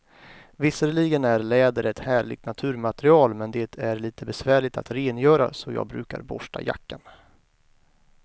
Visserligen är läder ett härligt naturmaterial, men det är lite besvärligt att rengöra, så jag brukar borsta jackan.